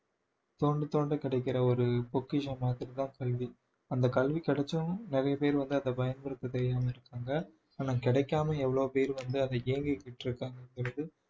தோண்டி தோண்ட கிடைக்கிற ஒரு பொக்கிஷம் மாதிரிதான் கல்வி அந்த கல்வி கிடைச்சும் நிறைய பேர் வந்து அதை பயன்படுத்த தெரியாம இருக்காங்க ஆனால் கிடைக்காமல் எவ்வளவு பேர் வந்து அதை ஏங்கிகிட்டு இருக்காங்கன்றது